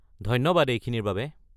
ধন্যবাদ এইখিনিৰ বাবে।